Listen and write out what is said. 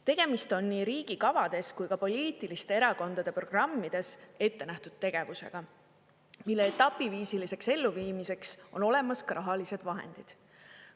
Tegemist on nii riigi kavades kui ka poliitiliste erakondade programmides ette nähtud tegevusega, mille etapiviisiliseks elluviimiseks on olemas ka rahalised vahendid.